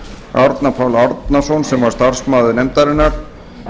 árna pál árnason starfsmann nefndarinnar